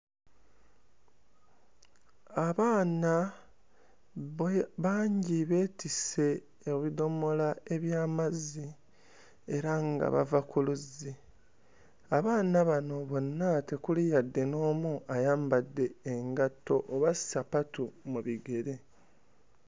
Abaana bwe bangi beetisse ebidomola by'amazzi era nga bava ku luzzi, abaana bano bonna tekuli yadde n'omu ayambadde engatto oba ssapatu mu bigere.